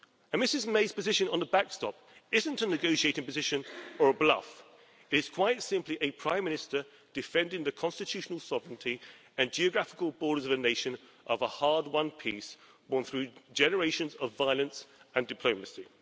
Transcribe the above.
Mrs May's position on the backstop isn't a negotiating position or a bluff it is quite simply a Prime Minister defending the constitutional sovereignty and geographical borders of a nation of a hard won peace, born through generations of violence and diplomacy.